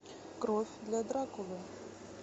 кровь для дракулы